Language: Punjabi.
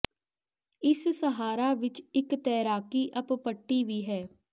ਇਸ ਸਹਾਰਾ ਵਿੱਚ ਇੱਕ ਤੈਰਾਕੀ ਅਪ ਪੱਟੀ ਵੀ ਹੈ